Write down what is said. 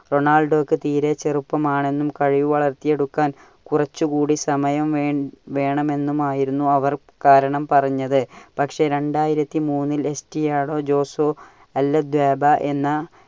റൊണാൾഡോയ്ക്ക് തീരെ ചെറുപ്പം ആണെന്നും കഴിവ് വളർത്തിയെടുക്കാൻ കുറച്ചുംകൂടി സമയം വേൺ ~വേണമെന്നുമായിരുന്നു അവർ കാരണം പറഞ്ഞത്. പക്ഷെ രണ്ടായിരത്തി മൂന്നിൽ എസ്ടിയാടോ ജോസോ അൽ അധ്വായ്ബ എന്ന